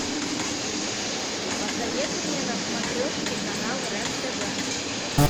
посоветуй мне на смотрешке канал рен тв